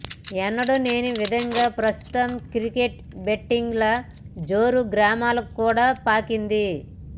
ఎన్నడు లేని విధంగా ప్రస్తుతం క్రికెట్ బెట్టింగ్ ల జోరు గ్రామాలకు కూడా పాకింది